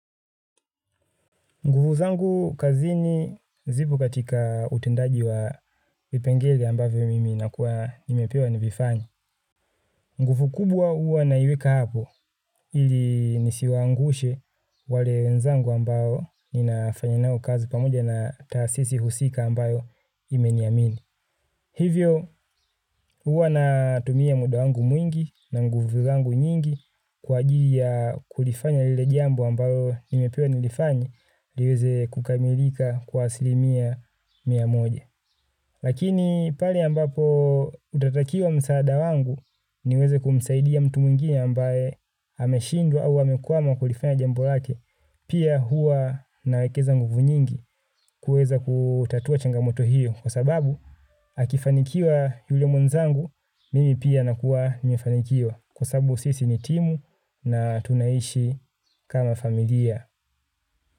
Nguvu zangu kazini zipo katika utendaji wa vipengele ambavyo mimi nakuwa nimepewa nivivanye. Nguvu kubwa huwa naiweka hapo ili nisiwaangushe wale wenzangu ambao ninafanya nao kazi pamoja na taasisi husika ambayo imeniamini. Hivyo, huwa na tumia muda wangu mwingi na nguvu zangu nyingi kwa ajili ya kulifanya lile jambo ambayo nimepewa nilifanye liweze kukamilika kwa asilimia mia moja. Lakini pale ambapo utatakiwa msaada wangu niweze kumsaidia mtu mwingine ambaye ameshindwa au amekwama kulifanya jambo lake, pia huwa nawekeza nguvu nyingi kuweza kutatua changamoto hiyo kwa sababu akifanikiwa yule mwenzangu mimi pia nakua nimefanikiwa kwa sababu sisi ni timu na tunaishi kama familia.